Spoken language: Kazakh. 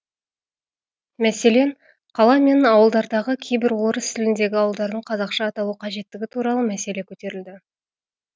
мәселен қала мен ауылдардағы кейбір орыс тіліндегі ауылдардың қазақша аталу қажеттігі туралы мәселе көтерілді